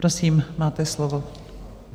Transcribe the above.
Prosím, máte slovo.